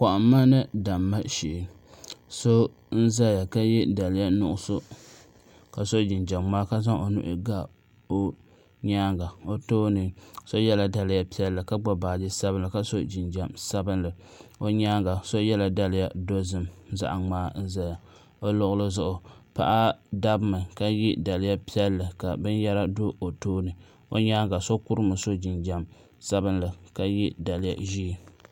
Kɔhimma ni damma shɛɛ so n zaya ka ye daliya nuɣiso ka so jinjam mŋaa ka zaŋ o nuhi ga o yɛanga o tooni so yela daliya piɛlli ka gbubi baaji sabinli ka so jinjam sabinli o yɛanga so yela daliya dozim zaɣi mŋaa n zaya o luɣili zuɣu paɣa dabi mi ka ye daliya piɛlli ka bini yara do o tooni o yɛanga so kuri mi so jinjam sabinli ka ye daliya zɛɛ.